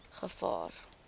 gevaar